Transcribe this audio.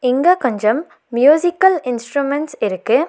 இங்க கொஞ்சம் musical instruments இருக்கு.